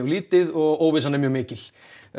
lítið og óvissan er mjög mikil